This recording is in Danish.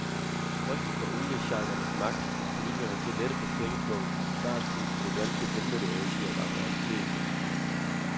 Frygten for oliesheikernes magt fik politikerne til at lette på pengepungen, og startskuddet til det danske vindmølleeventyr var en realitet.